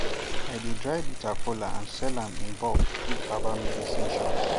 i dey dry bitter kola and sell am in bulk give herbal medicine shops